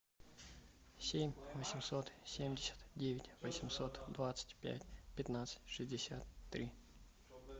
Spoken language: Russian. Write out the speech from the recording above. семь восемьсот семьдесят девять восемьсот двадцать пять пятнадцать шестьдесят три